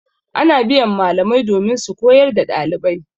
Ana biyan malamai domin su koyar da ɗalibai.